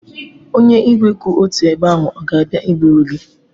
Onye igwe kwụ otu ebe ahụ ọ ga-abịa iburu gị?